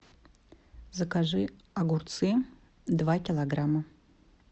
закажи огурцы два килограмма